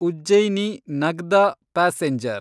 Ujjaini Nagda passenger